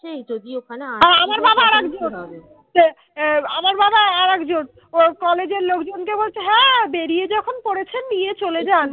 অ্যাঁ আমার বাবা আর একজন। college এর লোকজনকে বলছে হ্যাঁ বেরিয়ে যখন পড়েছেন নিয়ে চলে যান।